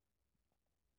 *